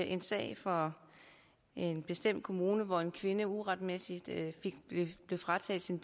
en sag fra en bestemt kommune hvor en kvinde uretmæssigt blev frataget sin